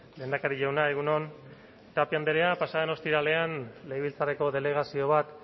lehendakari jauna egun on tapia andrea pasa den ostiralean legebiltzarreko delegazio bat